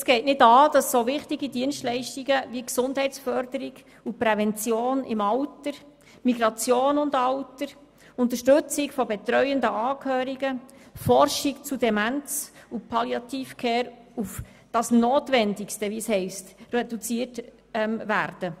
Es geht nicht an, dass so wichtige Dienstleistungen wie die Gesundheitsförderung, die Prävention im Alter, Migration und Alter, die Unterstützung von betreuenden Angehörigen, Forschung zu Demenz sowie Palliativ Care – wie zu lesen ist – auf «das Notwendigste» reduziert werden.